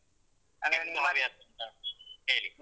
ಹೇಳಿ.